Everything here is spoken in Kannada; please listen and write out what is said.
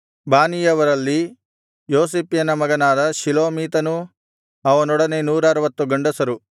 ಬಾನೀಯವರಲ್ಲಿ ಯೋಸಿಫ್ಯನ ಮಗನಾದ ಶಿಲೋಮೀತನೂ ಅವನೊಡನೆ 160 ಗಂಡಸರು